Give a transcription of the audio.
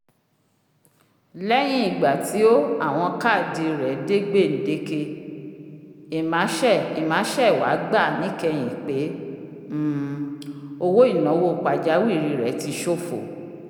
lẹyin igba ti o awọn kaadi owó dé gbendeke emma sẹ emma sẹ wá gba níkẹyìn pé um owo-inawo pajawiri rẹ tí s'ófò